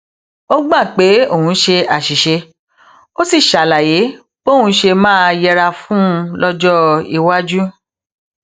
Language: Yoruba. ó gbà pé òun ṣe àṣìṣe ó sì ṣàlàyé bóun ṣe máa yẹra fún un lójó iwájú